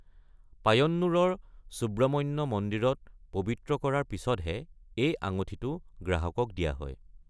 পায়ন্নুৰৰ সুব্ৰমণ্য মন্দিৰত পবিত্ৰ কৰাৰ পিছতহে এই আঙঠিটো গ্ৰাহকক দিয়া হয়।